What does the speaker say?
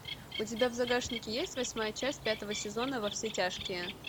у тебя в загашнике есть восьмая часть пятого сезона во все тяжкие